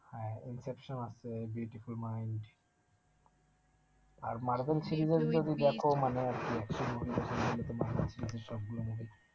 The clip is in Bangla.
হ্যাঁ, ইন্সেপশন আছে বিউটিফুল মাইন্ড আর মার্বেল মানে